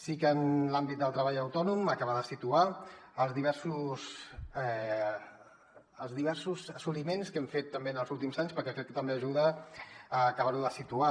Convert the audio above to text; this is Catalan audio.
sí que en l’àmbit del treball autònom acabar de situar els diversos assoliments que hem fet també en els últims anys perquè crec que també ajuda a acabar ho de situar